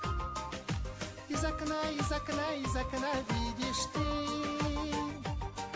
из окна из окна из окна видишь ты